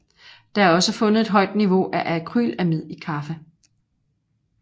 Der er også fundet et højt niveau af acrylamid i kaffe